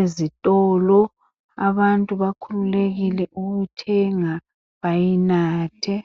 ezitolo. Abantu bakhululekile ukuthenga bayinathe.